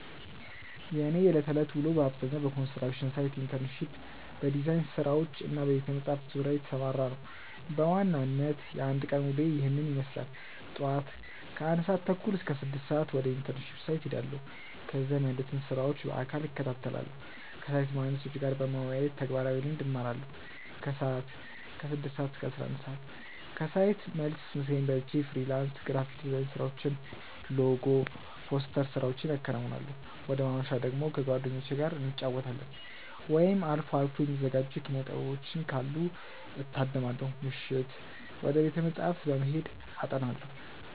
የእኔ የዕለት ተዕለት ውሎ በአብዛኛው በኮንስትራክሽን ሳይት ኢንተርንሺፕ፣ በዲዛይን ስራዎች እና በቤተ-መጻሕፍት ዙሪያ የተሰማራ ነው። በዋናነት የአንድ ቀን ውሎዬ ይህንን ይመስላል፦ ጧት (ከ1:30 - 6:00)፦ ወደ ኢንተርንሺፕ ሳይት እሄዳለሁ። እዚያም ያሉትን ስራዎች በአካል እከታተላለሁ። ከሳይት መሃንዲሶች ጋር በመወያየት ተግባራዊ ልምድ እማራለሁ። ከሰዓት (ከ6:00 - 11:00)፦ ከሳይት መልስ ምሳዬን በልቼ የፍሪላንስ ግራፊክ ዲዛይን ስራዎችን (ሎጎ፣ ፖስተር ስራዎቼን አከናውናለሁ። ወደ ማምሻ ደግሞ፦ ከጓደኞቼ ጋር እንጫወታለን፣ ወይም አልፎ አልፎ የሚዘጋጁ የኪነ-ጥበቦችን ካሉ እታደማለሁ። ምሽት፦ ወደ ቤተ-መጻሕፍት በመሄድ አጠናለሁ።